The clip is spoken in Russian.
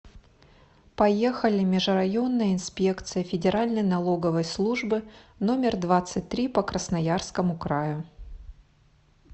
поехали межрайонная инспекция федеральной налоговой службы номер двадцать три по красноярскому краю